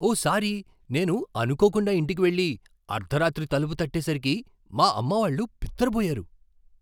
ఓసారి నేను అనుకోకుండా ఇంటికి వెళ్ళి, అర్ధరాత్రి తలుపు తట్టేసరికి మా అమ్మావాళ్ళు బిత్తరపోయారు.